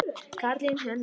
Karlinn hennar.